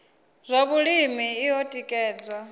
zwa vhulimi i o tikedziwa